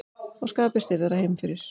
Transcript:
Og skapið stirðara heima fyrir.